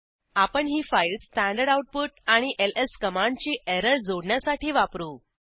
आपण ही file standard output आणि एलएस कमांडची एरर जोडण्यासाठी वापरू